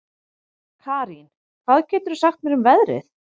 Karín, hvað geturðu sagt mér um veðrið?